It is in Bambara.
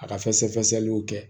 A ka fɛsɛfɛsɛliw kɛ